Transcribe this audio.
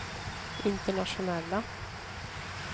internationella